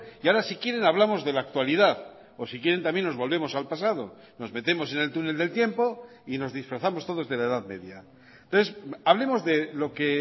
y ahora si quieren hablamos de la actualidad o si quieren también nos volvemos al pasado nos metemos en el túnel del tiempo y nos disfrazamos todos de la edad media entonces hablemos de lo que